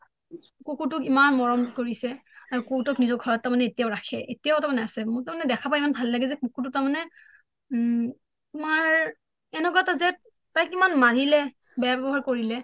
কুকুৰ টোক ইমান মৰম কৰিছে আৰু কুকুৰ টোক নিজৰ ঘৰত ৰাখে এতিয়াও আছে মোৰ তাৰ মানে দেখা পায় ইমান ভাল লাগে যে কুকুৰটো তাৰ মানে তোমাৰ এনেকুৱা এটা যে তাইক কিমান মাৰিলে বেয়া ব্যৱহাৰ কৰিলে